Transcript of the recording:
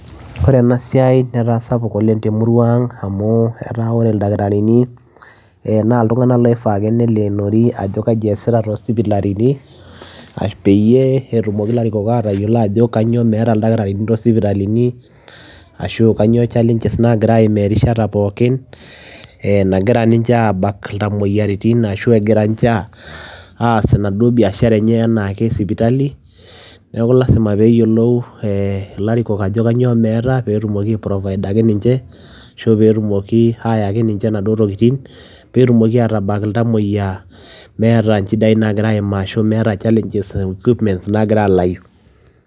Ore ena siai neetaa sapuk oleng te murua ang amuu oree ilntakitarini naa ilntunganak ooifaa neleenorii ajoo kajii eesitaa too sipitali peyiee etumokii ilarikong atayiolo ajo kanyioo meeta ildakitarini too sipitalini ashua kanyioo challenge naagira aimaa erishata pookin naagira ninje aabak ilntamoyia neeku lazima peyiee eyilou ilarikonk ajoo kanyioo meeta peyiee etumokii ai provider peyiee etumokii ayaaki ninje naduoo tokitin peyiee etumokii ataabak ilntamoyiaa